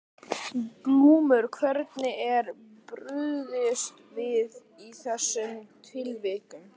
Glúmur: Hvernig er brugðist við í þessum tilvikum?